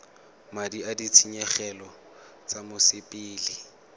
madi a ditshenyegelo tsa mosepele